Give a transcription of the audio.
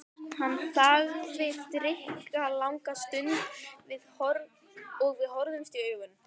Hann þagði drykklanga stund og við horfðumst í augu.